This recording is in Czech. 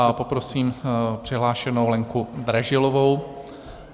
A poprosím přihlášenou Lenku Dražilovou.